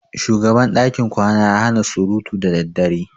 Shugaban dakin kwana ya hana surutu da daddare.